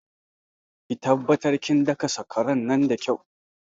Ki taɓattar kin daka sakwara nan da kyau